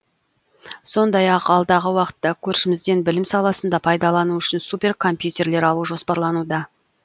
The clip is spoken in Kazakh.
сондай ақ алдағы уақытта көршімізден білім саласында пайдалану үшін супер компьютерлер алу жоспарлануда